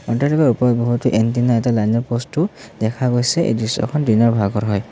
অট্টালিকাৰ ওপৰত বহুতো এণ্টেনা এটা লাইনৰ প'ষ্টটো দেখা গৈছে এই দৃশ্যখন দিনৰ ভাগৰ হয়।